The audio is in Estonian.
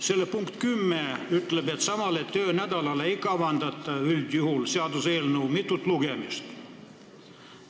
Selle punkt 10 ütleb, et samale töönädalale ei kavandata üldjuhul seaduseelnõu mitut lugemist.